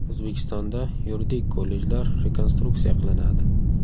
O‘zbekistonda yuridik kollejlar rekonstruksiya qilinadi.